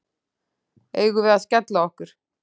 Eigum við að skella okkur?